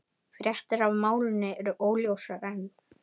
Fréttir af málinu eru óljósar enn